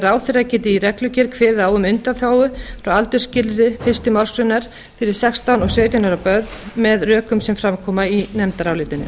ráðherra geti í reglugerð kveðið á um undanþágu frá aldursskilyrði fyrstu málsgrein fyrir sextán og sautján ára börn með rökum sem fram koma í nefndarálitinu